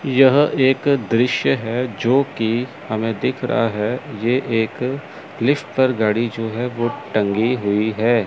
यह एक दृश्य है जो कि हमें दिख रहा है ये एक लिफ्ट पर गाड़ी जो है वो टंगी हुई है।